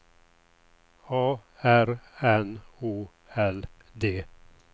A R N O L D